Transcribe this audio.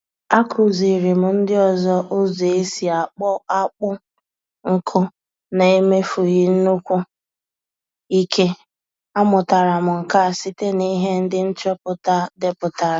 Akụziiri m ndị ọzọ ụzọ esi akpọ akpụ nkụ na-emefughi nnukwu ike. A mụtara m nke a site na ihe ndị nchọpụta deputara